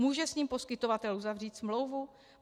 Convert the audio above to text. Může s ním poskytovatel uzavřít smlouvu?